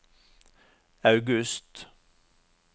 august